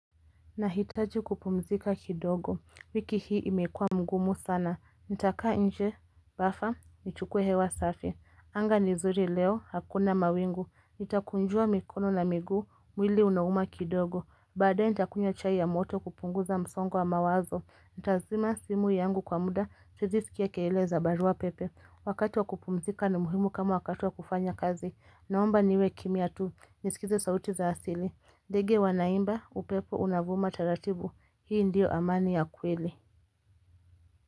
Nahitaji kupumzika kidogo, wiki hii imekua mgumu sana, nitakaa nje, bafa, nichukue hewa safi, anga ni zuri leo, hakuna mawingu, nitakunjua mikono na miguu, mwili unauma kidogo, baadae nitakunywa chai ya moto kupunguza msongo wa mawazo, nitazima simu yangu kwa muda, siezi skia keile za barua pepe, wakati wa kupumzika ni muhimu kama wakati wa kufanya kazi, naomba niwe kimia tu, nisikize sauti za asili, ndege wanaimba, upepo unavuma taratibu, hii ndiyo amani ya kweli.